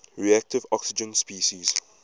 reactive oxygen species